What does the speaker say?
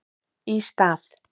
Í stað